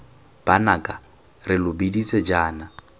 banaka re lo biditse jaana